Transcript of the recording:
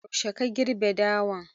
Yaushe ka girbe doyan?